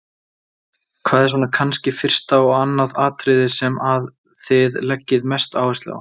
Hvað er svona kannski fyrsta og annað atriðið sem að þið leggið mesta áherslu á?